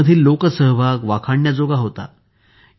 या मधील लोकसहभाग वाखाणण्याजोगा होता